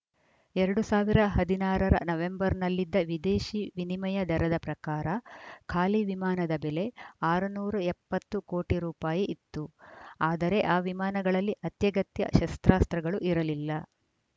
ಎರಡ್ ಸಾವಿರದ ಹದಿನಾರ ರ ನವೆಂಬರ್‌ನಲ್ಲಿದ್ದ ವಿದೇಶಿ ವಿನಿಮಯ ದರದ ಪ್ರಕಾರ ಖಾಲಿ ವಿಮಾನದ ಬೆಲೆ ಆರುನೂರ ಎಪ್ಪತ್ತು ಕೋಟಿ ರೂಪಾಯಿ ಇತ್ತು ಆದರೆ ಆ ವಿಮಾನಗಳಲ್ಲಿ ಅತ್ಯಗತ್ಯ ಶಸ್ತ್ರಾಸ್ತ್ರಗಳು ಇರಲಿಲ್ಲ